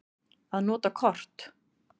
Að nota kort.